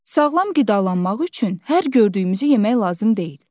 Sağlam qidalanmaq üçün hər gördüyümüzü yemək lazım deyil.